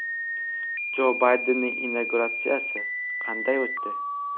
Jo Baydenning inauguratsiyasi qanday o‘tdi?.